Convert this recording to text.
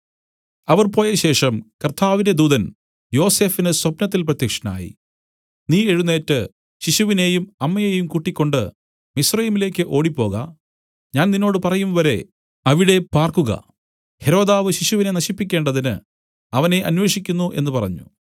അവർ പോയശേഷം കർത്താവിന്റെ ദൂതൻ യോസഫിന് സ്വപ്നത്തിൽ പ്രത്യക്ഷനായി നീ എഴുന്നേറ്റ് ശിശുവിനെയും അമ്മയെയും കൂട്ടിക്കൊണ്ട് മിസ്രയീമിലേക്ക് ഓടിപ്പോക ഞാൻ നിന്നോട് പറയുംവരെ അവിടെ പാർക്കുക ഹെരോദാവ് ശിശുവിനെ നശിപ്പിക്കേണ്ടതിന്നു അവനെ അന്വേഷിക്കുന്നു എന്നു പറഞ്ഞു